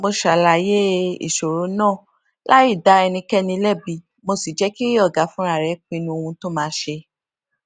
mo ṣàlàyé ìṣòro náà láì dá ẹnikéni lébi mo sì jé kí ọga fúnra rè pinnu ohun tó máa ṣe